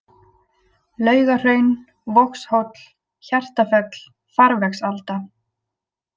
Laugahraun, Vogshóll, Hjartafell, Farvegsalda